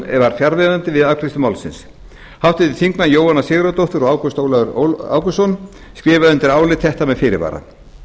var fjarverandi við afgreiðslu málsins háttvirtir þingmenn jóhanna sigurðardóttir og ágúst ólafur ágústsson skrifa undir álit þetta með fyrirvara